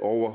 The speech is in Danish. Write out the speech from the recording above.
over